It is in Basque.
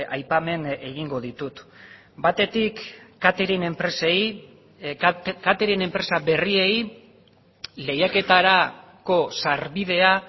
aipamen egingo ditut batetik catering enpresei catering enpresa berriei lehiaketarako sarbidea